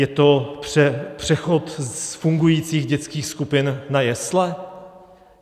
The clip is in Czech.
Je to přechod z fungujících dětských skupin na jesle?